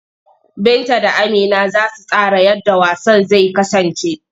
Binta da Amina za su tsara yadda wasan zai kasance.